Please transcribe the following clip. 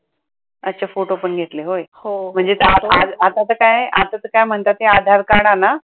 अच्छा फोटो पण घेतले होय. म्हणजे आता तर काय आता तर काय म्हणतात ते आधार card आणा.